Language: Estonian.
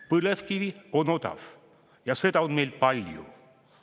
Põlevkivi on odav ja seda on meil palju.